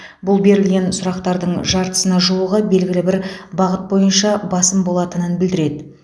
бұл берілген сұрақтардың жартысына жуығы белгілі бір бағыт бойынша басым болатынын білдіреді